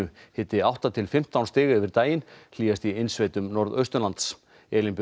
hiti átta til fimmtán stig yfir daginn hlýjast í innsveitum norðaustanlands Elín Björk